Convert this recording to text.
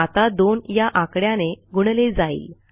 आता दोन या आकड्याने गुणले जाईल